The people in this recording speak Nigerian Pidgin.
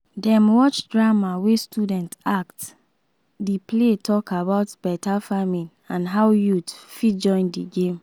dem watch drama wey students act the play talk about better farming and how youth fit join the game.